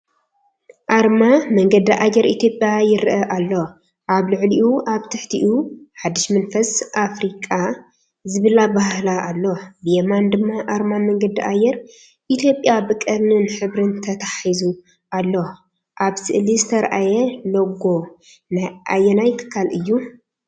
ኣርማ መንገዲ ኣየር ኢትዮጵያ ይርአ ኣሎ። ኣብ ልዕሊኡ ኣብ ትሕቲኡ “ሓድሽ መንፈስ ኣፍሪቃ” ዝብል ኣበሃህላ ኣሎ። ብየማን ድማ ኣርማ መንገዲ ኣየር ኢትዮጵያ ብቀርኒን ሕብርን ተተሓሒዙ ኣሎ። ኣብ ስእሊ ዝተርኣየ ሎጎ ናይ ኣየናይ ትካል እዩ?